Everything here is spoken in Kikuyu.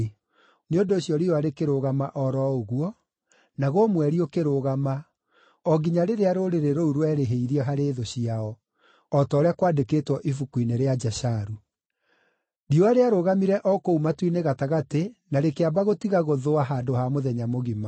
Nĩ ũndũ ũcio riũa rĩkĩrũgama o ro ũguo, naguo mweri ũkĩrũgama, o nginya rĩrĩa rũrĩrĩ rũu rwerĩhĩirie harĩ thũ ciao, o ta ũrĩa kwandĩkĩtwo Ibuku-inĩ rĩa Jasharu. Riũa rĩarũgamire o kũu matu-inĩ gatagatĩ na rĩkĩamba gũtiga gũthũa handũ ha mũthenya mũgima.